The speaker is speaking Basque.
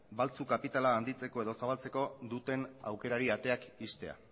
baltzu kapitala handitzeko edo zabaltzeko duten aukerari ateak ixtea